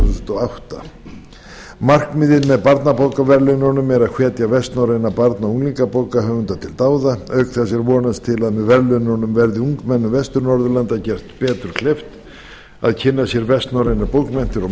þúsund og átta markmiðið með barnabókaverðlaununum er að hvetja vestnorræna barna og unglingabókahöfunda til dáða auk þess er vonast til að með verðlaununum verði ungmennum vestur norðurlanda gert betur kleift að kynna sér vestnorrænar bókmenntir og